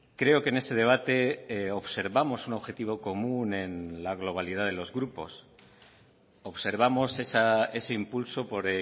creo que en ese debate observamos un objetivo común en la globalidad de los grupos observamos ese impulso por